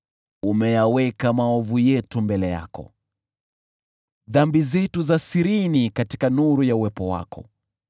Umeyaweka maovu yetu mbele yako, dhambi zetu za siri katika nuru ya uwepo wako.